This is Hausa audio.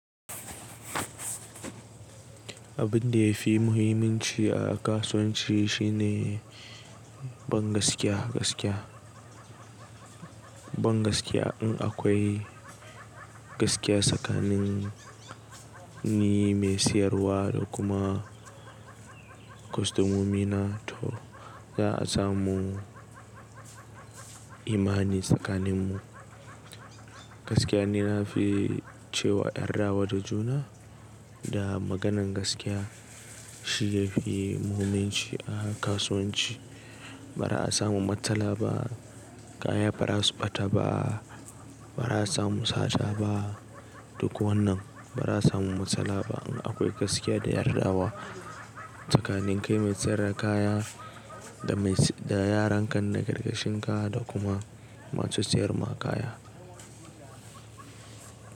Abin da ya fi muhimmanci a kasuwanci shine bangaskiya gaskiya. Bangaskiya in akwai gaskiya tsakanin ni mai siyarwa da kuma kwastomomi na to za a samu imani tsakaninmu. Gaskiya nina fi cewa yarda wa da juna da maganan gaskiya shi ya fi muhimmanci a kasuwanci. Ba za a samu matsala ba, kaya ba za su ɓata ba, ba za a samu sata ba, duk wannan ba za a samu matsala ba in akwai gaskiya da yardawa tsakanin kai mai sayar da kaya da yaran kan na ƙarƙashin ka da kuma masu siyar ma kaya.